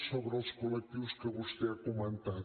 sobre els col·lectius que vostè ha comentat